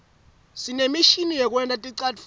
sinemishini yekwenta ticatfulo